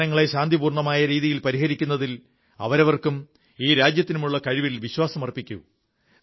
പ്രശ്നങ്ങളെ ശാന്തിപൂർണ്ണമായ രീതിയിൽ പരിഹരിക്കുന്നതിൽ അവരവർക്കും ഈ രാജ്യത്തിനുമുള്ള കഴിവിൽ വിശ്വാസമർപ്പിക്കൂ